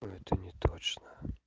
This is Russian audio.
это не точно